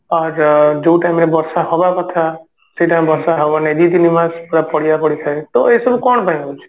ଆଉ ଯଉ time ରେ ବର୍ଷା ହବା କଥା ସେଇ time ରେ ବର୍ଷା ହବନି ଦୁଇ ତିନି ମାସ ପୁରା ପଡିଆ ପଡିଥାଏ ତ ଏଇ ସବୁ କଣ ପାଇଁ ହଉଛି?